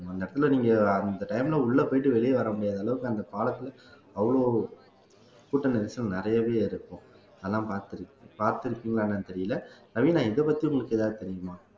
அந்த இடத்திலே நீங்க அந்த time ல உள்ளே போயிட்டு வெளியே வர முடியாத அளவுக்கு அந்த பாலத்திலே அவ்வளோ கூட்ட நெரிசல் நிறையவே இருக்கும் அதெல்லாம் பார்த் பார்த்திருக்கீங்களா என்னன்னு தெரியல ரவீனா இதப்பத்தி உங்களுக்கு ஏதாவது தெரியுமா